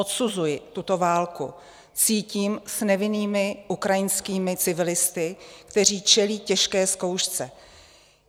Odsuzuji tuto válku, cítím s nevinnými ukrajinskými civilisty, kteří čelí těžké zkoušce.